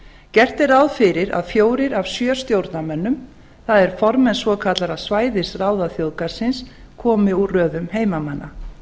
gert er ráð fyrir að fjórir af sjö stjórnarmönnum það er formenn svokallaðra svæðisráða þjóðgarðsins komi úr röðum heimamanna